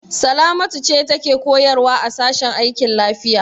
Salamatu ce take koyarwa a sashen aikin lafiya.